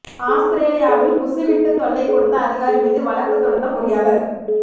ஆஸ்திரேலியாவில் குசு விட்டு தொல்லை கொடுத்த அதிகாரி மீது வழக்கு தொடுத்த பொறியாளர்